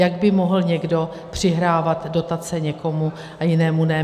Jak by mohl někdo přihrávat dotace někomu a jinému ne?